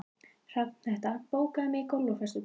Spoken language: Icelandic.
Hrafnhetta, bókaðu hring í golf á föstudaginn.